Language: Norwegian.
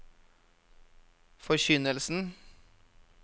forkynnelsen